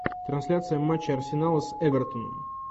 трансляция матча арсенала с эвертоном